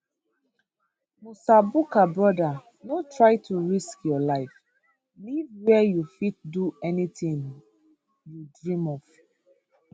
musa bukar brother no try to risk your life live wia you fit do anytin you dream of